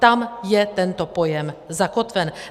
Tam je tento pojem zakotven.